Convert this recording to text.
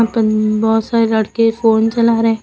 अं बहोत सारे लड़के फोन चला रहे--